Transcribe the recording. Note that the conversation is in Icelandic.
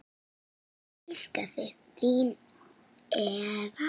Ég elska þig, þín Eva.